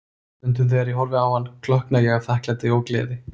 Stundum þegar ég horfi á hann, klökkna ég af þakklæti og gleði.